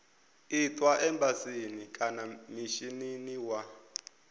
itwa embasini kana mishinini wa